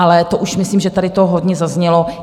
Ale to už myslím, že tady to hodně zaznělo.